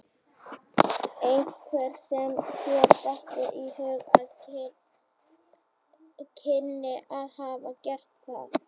Einhver sem þér dettur í hug að kynni að hafa gert það?